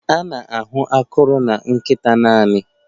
A na-ahụ akọrọ na nkịta naanị?